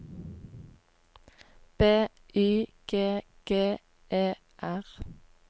B Y G G E R